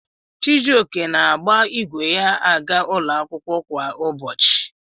Chijioke na-agba igwe ya aga ụlọ akwụkwọ kwa ụbọchị.